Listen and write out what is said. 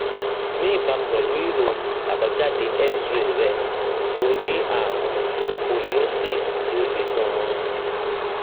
ní ìbámu pẹlú ìròyìn àbájáde xray rẹ ó ní ààrùn scoliosis tí ó le ganan